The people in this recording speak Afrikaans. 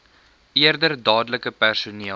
eerder dadelik personeel